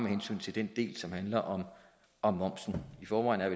hensyn til den del som handler om om momsen i forvejen er